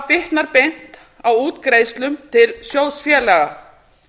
bitnar beint á útgreiðslum til sjóðfélaga